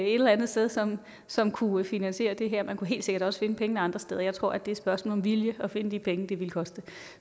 eller andet sted som som kunne finansiere det her man kunne helt sikkert også finde pengene andre steder jeg tror det er et spørgsmål om vilje at finde de penge det ville koste